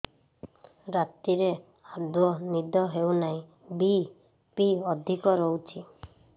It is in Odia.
ରାତିରେ ଆଦୌ ନିଦ ହେଉ ନାହିଁ ବି.ପି ଅଧିକ ରହୁଛି